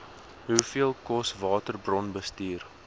hoeveel kos waterbronbestuur